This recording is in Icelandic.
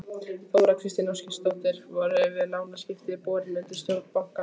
Þóra Kristín Ásgeirsdóttir: Voru þessi lánaviðskipti borin undir stjórn bankans?